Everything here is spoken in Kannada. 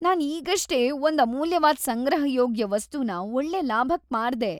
ನಾನ್‌ ಈಗಷ್ಟೇ ಒಂದ್ ಅಮೂಲ್ಯವಾದ್ ಸಂಗ್ರಹಯೋಗ್ಯ ವಸ್ತುನ ಒಳ್ಳೆ ಲಾಭಕ್ ಮಾರ್ದೆ.